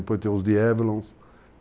Depois tem os Diabolos.